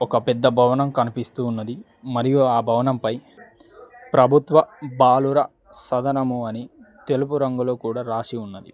ఒక పెద్ద భవనం కనిపిస్తూ ఉన్నది మరియు ఆ భవనంపై ప్రభుత్వ బాలుర సదనము అని తెలుపు రంగులు కూడా రాసి ఉన్నది.